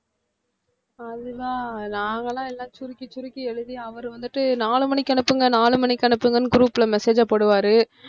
அதுதான் நாங்கலாம் எல்லாம் சுருக்கி சுருக்கி எழுதி அவரு வந்துட்டு நாலு மணிக்கு அனுப்புங்க நாலு மணிக்கு அனுப்புங்கன்னு group ல message அ போடுவாரு